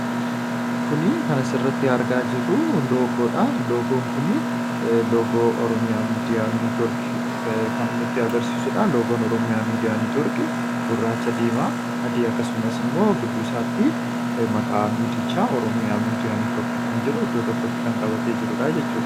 kuni kan asirratti aargaa jirruu loogoodha. logoon kunii loogo oromiyaa miidiyaa niitiworki kan nutti agarsiisuudha . logoon oromiyaa miidiyaa niitiwarrkii gurraacha diimaa adii akkasumas immoo giddusaatti maqaa miidiichaa oromiyaa miidiyaa niitworki kan jedhu iddoo tokkotti kan qabatee jirudha jechudha.